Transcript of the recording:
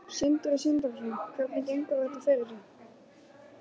Sindri Sindrason: Hvernig gengur þetta fyrir sig?